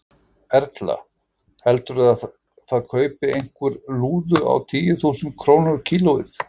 Erla: Heldurðu að það kaupi einhver lúðu á tíu þúsund krónur kílóið?